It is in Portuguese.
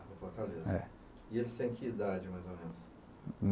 em Fortaleza. Eh. E ele tem que idade, mais ou menos?